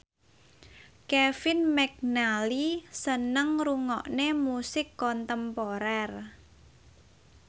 Kevin McNally seneng ngrungokne musik kontemporer